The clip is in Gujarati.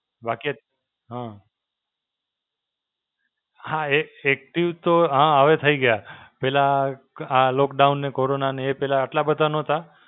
બાકી અ હાં. હાં એક્ active તો હાં હવે થઈ ગયા. પહેલા આ lockdown ને કોરોનાને એ પહેલા આટલા બધા નહોતા.